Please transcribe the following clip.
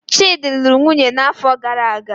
Chidi lụrụ nwunye n'afọ gara aga